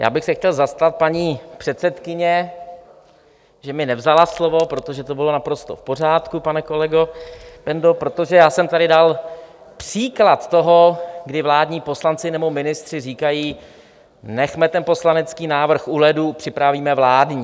Já bych se chtěl zastat paní předsedkyně, že mi nevzala slovo, protože to bylo naprosto v pořádku, pane kolego Bendo, protože já jsem tady dal příklad toho, kdy vládní poslanci nebo ministři říkají: Nechme ten poslanecký návrh u ledu, připravíme vládní.